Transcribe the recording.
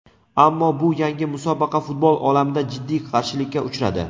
Ammo bu yangi musobaqa futbol olamida jiddiy qarshilikka uchradi.